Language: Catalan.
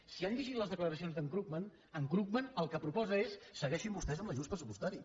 si han llegit les declaracions d’en krugman en krugman el que proposa és segueixin vostès amb l’ajust pressupostari